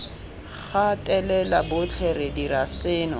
gatelela botlhe re dira seno